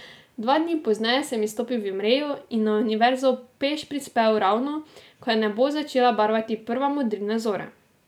Dva dni pozneje sem izstopil v Imreju in na Univerzo peš prispel ravno, ko je nebo začela barvati prva modrina zore.